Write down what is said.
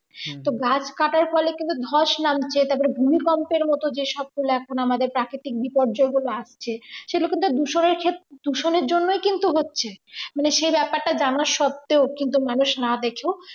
তো গাছ কাটার ফলে কিন্তু ধস নামছে যে তারপরে ভূমিকম্প এর মত যে সবগুলা আমাদের প্রাকৃতিক বিপয্যগুলো আসছে সেটা কিন্তু দূষণের ক্ষেত্রে দূষণের জন্যই কিন্তু হচ্ছে মানে সে ব্যাপারটা জানার সত্তেও কিন্তু মানুষ না দেখেও